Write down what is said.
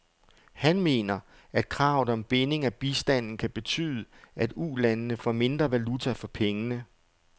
Han mener, at kravet om binding af bistanden kan betyde, at ulandene får mindre valuta for pengene.